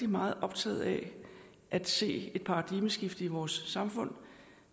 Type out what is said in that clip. meget optaget af at se et paradigmeskifte i vores samfund